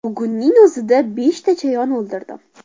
Bugunning o‘zida beshta chayon o‘ldirdim.